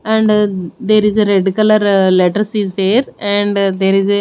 and there is a red colour letters is there and there is a--